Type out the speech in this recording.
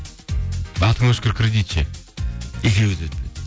атың өшкір кредит ше екеуі де өтпеді